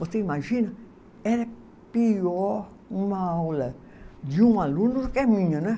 Você imagina, era pior uma aula de um aluno do que a minha, né?